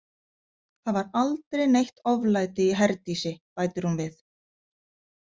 Það var aldrei neitt oflæti í Herdísi, bætir hún við.